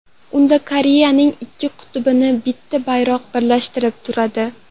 Unda Koreyaning ikki qutbini bitta bayroq birlashtirib turadi.